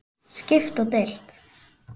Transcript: Skipt og deilt